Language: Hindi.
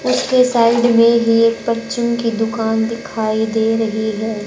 उसके साइड में भी एक बच्चों की दुकान दिखाई दे रही है।